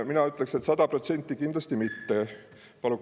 Mina ütleksin, et sada protsenti kindlasti.